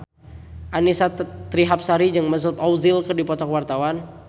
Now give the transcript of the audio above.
Annisa Trihapsari jeung Mesut Ozil keur dipoto ku wartawan